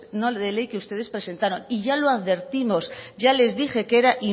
no de ley que ustedes presentaron y ya lo advertimos ya les dije que era